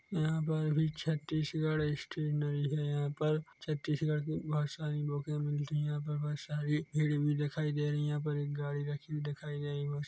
यहाँ पर अभी छतीसगढ़ स्टेशनरी है यहाँ पर छतीसगढ़ की बहुत सारी बूके मिलती है यहाँ पर बहुत सारी भिड़ भी दिखाई दे रही है यहाँ पर एक गाड़ी रखी हुई दिखाई गई है।